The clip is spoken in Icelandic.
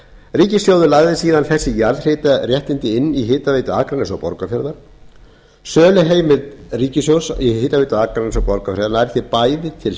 ríkissjóður lagði síðan þessi jarðhitaréttindi inn í hitaveitu akraness og borgarfjarðar söluheimild ríkissjóðs á hitaveitu akraness og borgarfjarðar nær því bæði til